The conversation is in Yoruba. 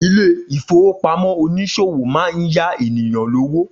Ilé-ìfowópamó oníṣòwò máa ń yá ènìyàn lówó